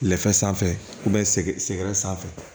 Lɛfɛ sanfɛ sɛ sɛgɛrɛ sanfɛ